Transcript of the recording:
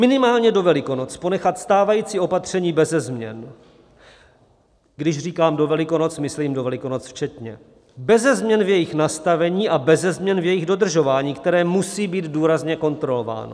Minimálně do Velikonoc ponechat stávající opatření beze změn - když říkám do Velikonoc, myslím do Velikonoc včetně - beze změn v jejich nastavení a beze změn v jejich dodržování, které musí být důrazně kontrolováno.